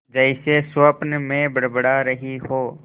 जैसे स्वप्न में बड़बड़ा रही हो